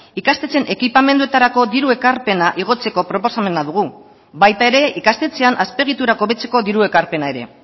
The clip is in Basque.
ikastetxeen ekipamenduetarako diru ekarpena igotzeko proposamena dugu baita ere ikastetxean azpiegiturak hobetzeko diru ekarpena ere